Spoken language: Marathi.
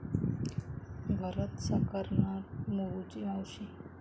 भरत साकारणार 'मोरूची मावशी'